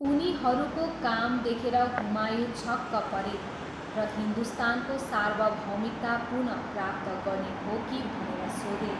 उनीहरूको काम देखेर हुमायूँ छक्क परे र हिन्दुस्तानको सार्वभौमिकता पुनः प्राप्त गर्ने हो कि भनेर सोधे।